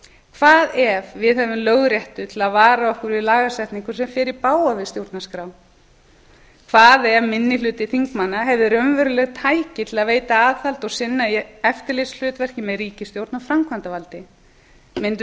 hvað ef við hefðum lögréttu til að vara okkur við lagasetningu sem fer í bága við stjórnarskrá hvað ef minni hluti þingmanna hefði raunveruleg tæki til að veita aðhald og sinna eftirlitshlutverki með ríkisstjórn og framkvæmdarvaldi mundum